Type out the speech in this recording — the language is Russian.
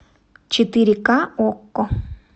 четыре ка окко